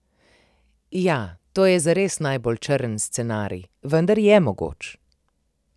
Ja, to je zares najbolj črn scenarij, vendar je mogoč.